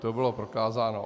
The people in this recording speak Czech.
To bylo prokázáno.